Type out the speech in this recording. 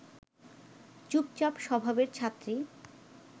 চুপচাপ স্বভাবের ছাত্রী